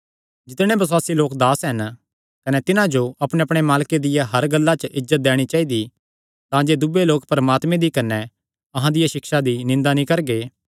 जितणे बसुआसी लोक दास हन कने तिन्हां जो अपणेअपणे मालके दियां हर गल्लां च इज्जत दैणी चाइदी तांजे दूये लोक परमात्मे दी कने अहां दिया सिक्षा दी निंदा नीं करगे